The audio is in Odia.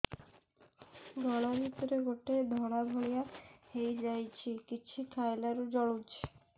ଗଳା ଭିତରେ ଗୋଟେ ଧଳା ଭଳିଆ ହେଇ ଯାଇଛି କିଛି ଖାଇଲାରୁ ଜଳୁଛି